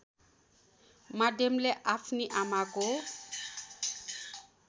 माध्यमले आफ्नी आमाको